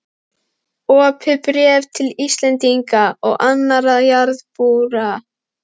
OPIÐ BRÉF TIL ÍSLENDINGA OG ANNARRA JARÐARBÚA.